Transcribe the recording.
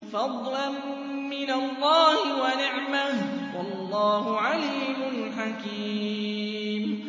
فَضْلًا مِّنَ اللَّهِ وَنِعْمَةً ۚ وَاللَّهُ عَلِيمٌ حَكِيمٌ